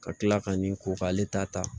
Ka tila ka nin ko k'ale ta ta